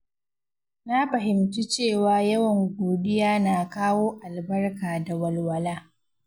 Na fahimci cewa yawan godiya na kawo albarka da walwala.